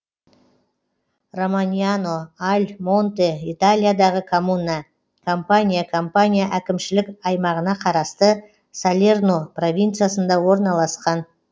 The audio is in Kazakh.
романьяно аль монте италиядағы коммуна кампания кампания әкімшілік аймағына қарасты салерно провинциясында орналасқан